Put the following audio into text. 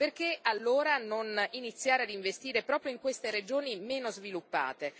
Perché allora non iniziare ad investire proprio in queste regioni meno sviluppate?